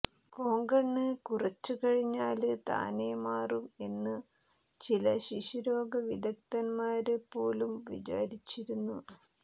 കോങ്കണ്ണ് കുറച്ചു കഴിഞ്ഞാല് താനേ മാറും എന്നു ചില ശിശുരോഗവിദഗ്ധന്മാര് പോലും വിചാരിച്ചിരുന്നു